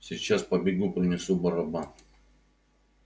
сейчас побегу принесу барабан